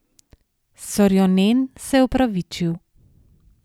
Sorjonen se je opravičil.